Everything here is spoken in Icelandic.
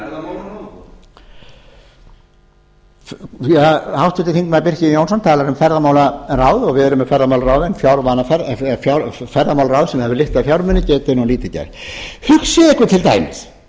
á milli ára háttvirtur þingmaður birkir jón jónsson talar um ferðamálaráð en ferðamálaráð sem hefur litla fjármuni getur nú lítið gert hugsið ykkur til dæmis ef